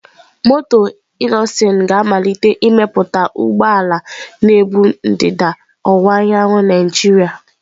Moto Innoson ga-amalite imepụta ụgbọ ala na-ebu ndịda ọwụwa anyanwụ Naijiria.